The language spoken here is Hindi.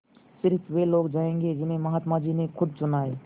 स़िर्फ वे लोग जायेंगे जिन्हें महात्मा जी ने खुद चुना है